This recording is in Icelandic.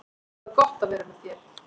Það er gott að vera með þér.